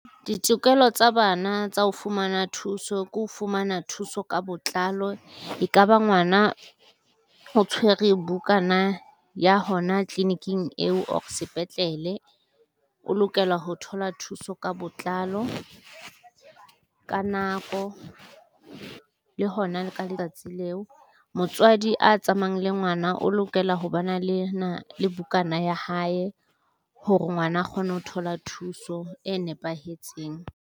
Ditokelo tsa bana tsa ho fumana thuso ke ho fumana thuso ka botlalo, ekaba ngwana o tshwere bukana ya hona tliliniking eo or sepetlele, o lokela ho thola thuso ka botlalo, ka nako le hona le ka letsatsi leo. Motswadi a tsamayang le ngwana o lokela ho ba na le bukana ya hae hore ngwana a kgone ho thola thuso e nepahetseng.